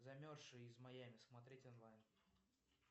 замерзшая из майами смотреть онлайн